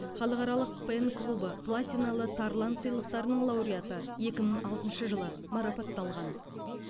халықаралық пен клубы платиналы тарлан сыйлықтарының лауреаты екі мың алтыншы жылы марапатталған